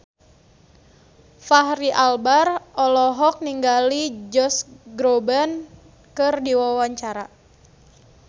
Fachri Albar olohok ningali Josh Groban keur diwawancara